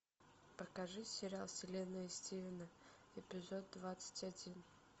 покажи сериал вселенная стивена эпизод двадцать один